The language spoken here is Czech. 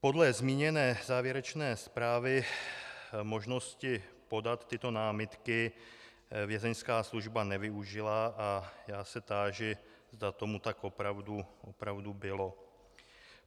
Podle zmíněné závěrečné zprávy možnosti podat tyto námitky Vězeňská služba nevyužila a já se táži, zda tomu tak opravdu bylo.